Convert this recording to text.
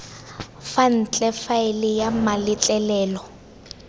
fa ntle faele ya mametlelelo